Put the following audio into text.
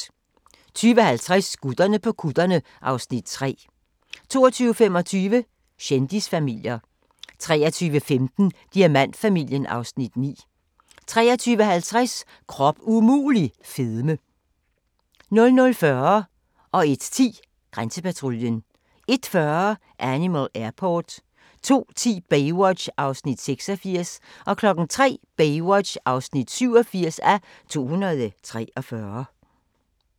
20:50: Gutterne på kutterne (Afs. 3) 22:25: Kendisfamilier 23:15: Diamantfamilien (Afs. 9) 23:50: Krop umulig - fedme 00:40: Grænsepatruljen 01:10: Grænsepatruljen 01:40: Animal Airport 02:10: Baywatch (86:243) 03:00: Baywatch (87:243)